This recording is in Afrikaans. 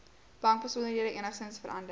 bankbesonderhede enigsins verander